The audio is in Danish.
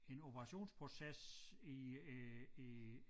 En operationsproces i øh i